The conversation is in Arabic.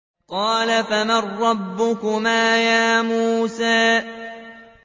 قَالَ فَمَن رَّبُّكُمَا يَا مُوسَىٰ